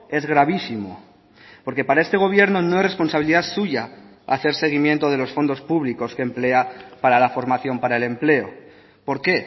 es gravísimo porque para este gobierno no es responsabilidad suya hacer seguimiento de los fondos públicos que emplea para la formación para el empleo por qué